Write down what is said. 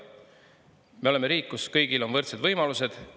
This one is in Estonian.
Me oleme riik, kus kõigil on võrdsed võimalused.